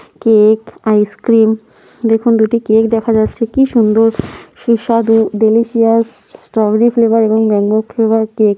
cake ice cream দেখুন দুটি cake দেখা যাচ্ছে কি সুন্দর সুস্বাদু ডেলেশিয়াস স্ট্রবেরি ফ্লেভার এবং ম্যাংগো ফ্লেভার কেক --